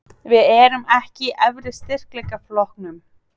Við erum ekki í efri styrkleikaflokknum?